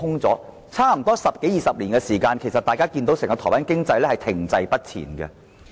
在十多二十年間，大家看到整個台灣經濟停滯不前。